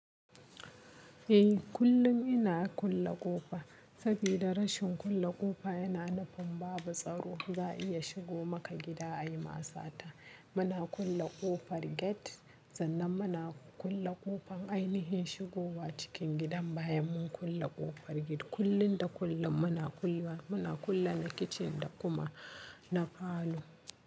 Eh, kullum ina kulle ƙofa. Saboda rashin kulle ƙofa yana nufin babu tsaro, za a iya shigo maka gida a yi ma sata. Muna kulle ƙofar gate, sannan muna kulle ƙofar ainihin shigowa cikin gidan bayan mun kulle ƙofar gate. Kullun da kullum muna kulle, muna kulle na kitchen da kuma na falo.